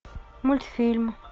мультфильм